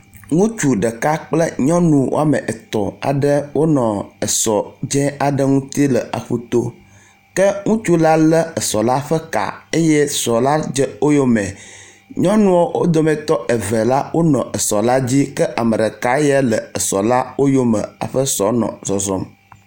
Ŋutsu ɖeka kple nyɔnu wɔme etɔ̃ aɖe wo nɔ es dzi le aƒu to ke ŋutsu la le esɔ la ƒe ka eye esɔ la dze woyome. Nyɔnua wo dometɔ eve la wonɔ esɔ la dzi ke ame ɖeka ya le esɔ la woyome hafi esɔ la nɔ zɔzɔm.